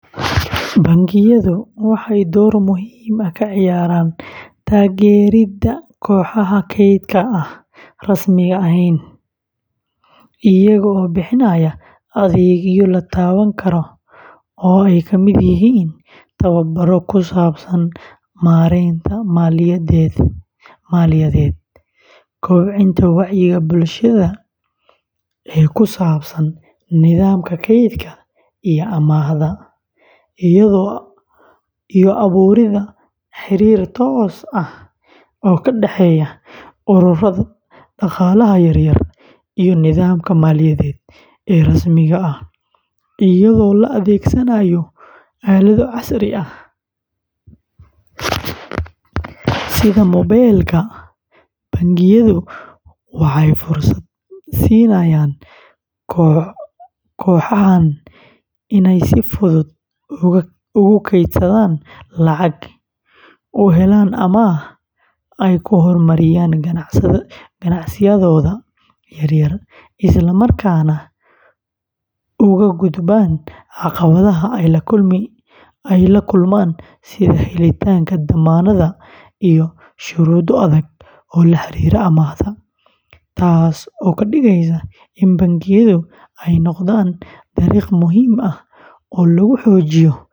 Bangiyadu waxay door muhiim ah ka ciyaaraan taageeridda kooxaha kaydka aan rasmi ahayn iyagoo bixinaya adeegyo la taaban karo oo ay ka mid yihiin tababarro ku saabsan maaraynta maaliyadeed, kobcinta wacyiga bulshada ee ku saabsan nidaamka kaydka iyo amaahda, iyo abuuridda xiriir toos ah oo ka dhexeeya ururrada dhaqaalaha yaryar iyo nidaamka maaliyadeed ee rasmiga ah; iyadoo la adeegsanayo aalado casri ah sida mobaylka, bangiyadu waxay fursad siinayaan kooxahan inay si fudud ugu kaydsadaan lacag, u helaan amaah ay ku horumariyaan ganacsiyadooda yaryar, isla markaana uga gudbaan caqabadaha ay la kulmaan sida helitaanka dammaanad iyo shuruudo adag oo la xiriira amaahda; taas oo ka dhigaysa in bangiyadu ay noqdaan dariiq muhiim ah.